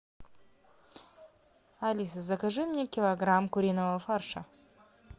алиса закажи мне килограмм куриного фарша